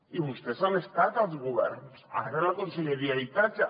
i vostès han estat als governs ara a la conselleria d’habitatge